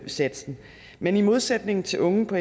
satsen men i modsætning til unge på